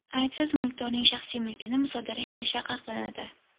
Aybsiz mulkdorning shaxsiy mulkini musodara etish taqiqlanadi.